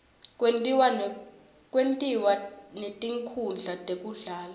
kwentiwa netinkhundla tekudlala